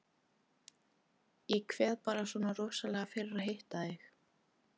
Ég kveið bara svona rosalega fyrir að hitta þig.